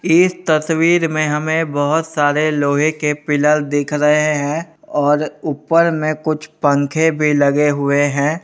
इस तस्वीर में हमें बहोत सारे लोहे के पिलर दिख रहे हैं और ऊपर में कुछ पंखे भी लगे हुए हैं।